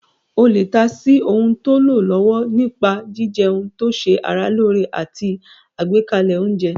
O lè ta sí ohun tó lọ lọ́wọ́ nípa jíjẹun tó ṣe ara lóore àti àgbékalẹ̀ oúnjẹ